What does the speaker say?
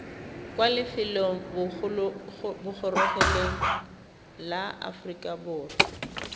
kwa lefelobogorogelong la aforika borwa